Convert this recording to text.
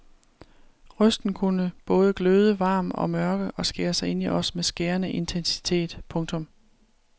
Røsten kunne både gløde varm og mørk og skære sig ind i os med skærende intensitet. punktum